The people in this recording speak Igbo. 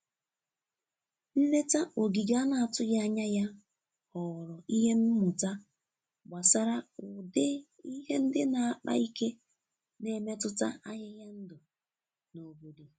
Nleta ogige a na-atụghị anya ya ghọrọ ihe mmụta gbasara ụdị ihe ndị na-akpa ike na-emetụta ahịhịa ndụ na-obodo.